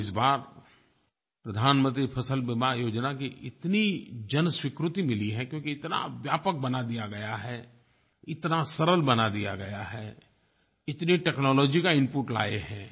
और इस बार प्रधानमंत्री फ़सल बीमा योजना की इतनी जनस्वीकृति मिली है क्योंकि इतना व्यापक बना दिया गया है इतना सरल बना दिया गया है इतनी टेक्नोलॉजी का इनपुट लाए हैं